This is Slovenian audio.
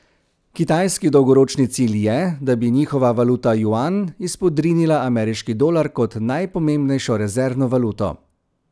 Kitajski dolgoročni cilj je, da bi njihova valuta juan izpodrinila ameriški dolar kot najpomembnejšo rezervno valuto.